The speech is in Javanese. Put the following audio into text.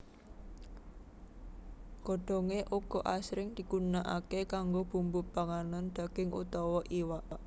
Godhongé uga asring digunakaké kanggo bumbu panganan daging utawa iwak